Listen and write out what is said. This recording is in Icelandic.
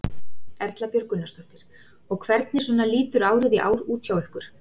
Erla Björg Gunnarsdóttir: Og hvernig svona lítur árið í ár út hjá ykkur?